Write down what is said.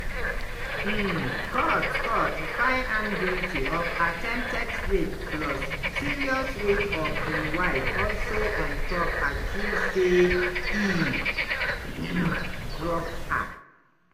um court court find am guilty of attempted rape plus serious rape of im wife also on top accuse say e drug her.